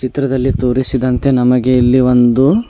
ಚಿತ್ರದಲ್ಲಿ ತೋರಿಸಿರುವಂತೆ ನಮಗೆ ಇಲ್ಲಿ ಒಂದು--